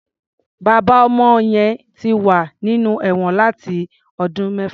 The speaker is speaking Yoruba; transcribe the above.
Bàbá ọmọ yẹn ti wà nínú ẹ̀wọn láti ọdún mẹ́fà.